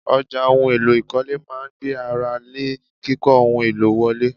Ọjà ohun èlò ìkọ́lé máa ń gbé ara lé kíkó ohun èlò wọlé.